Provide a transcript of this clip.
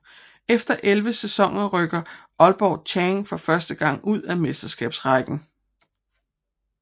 Efter 11 sæsoner rykkede Aalborg Chang for første gang ud af Mesterskabsrækken